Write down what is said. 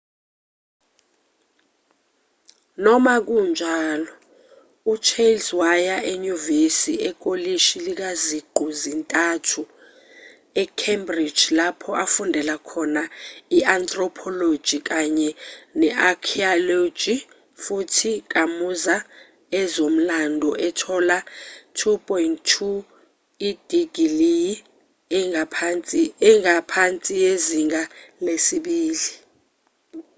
noma kunjalo uchales waya enyuvesi ekolishi likaziqu zintathu e-cambridge lapho afundela khona i-anthropology kanye ne-archaeology futhi kamuza ezomlando ethola u-2:2 idigiliyi engaphansi yezinga lesibili